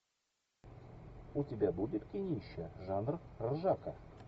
у тебя будет кинище жанр ржака